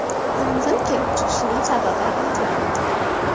Yong‘in kelib chiqishining sababi aniqlanmoqda.